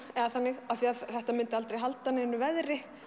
eða þannig af því að þetta myndi aldrei halda neinu veðri